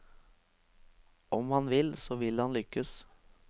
Om han vil, så vil han lykkes.